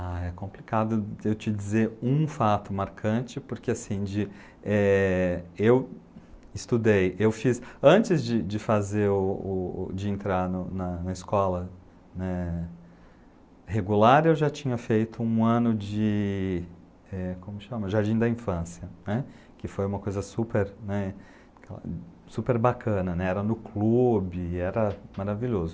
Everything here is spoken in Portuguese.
Ah, é complicado eu te dizer um fato marcante, porque assim, eu estudei, eu fiz, antes de fazer, de entrar na escola regular, eu já tinha feito um ano de, como chama, Jardim da Infância, que foi uma coisa super bacana, era no clube, era maravilhoso.